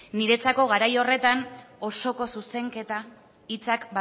niretzako garai horretan osoko zuzenketa hitzak